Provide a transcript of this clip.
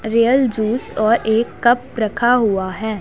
Real juice और एक cup रखा हुआ है।